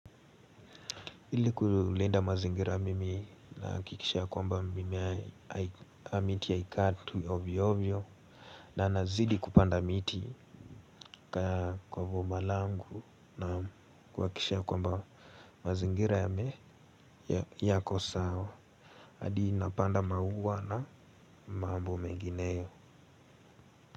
Ili kulinda mazingira mimi nahakikisha ya kwamba mimea au miti haikatwu ovyo ovyo na nazidi kupanda miti kwa boma langu na kuhakikisha kwamba mazingira yame yako sawa hadi napanda maua na mambo mengineyo.